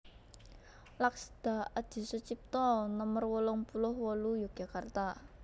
Laksda Adisutjipto Nomer wolung puluh wolu Yogyakarta